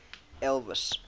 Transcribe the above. elvis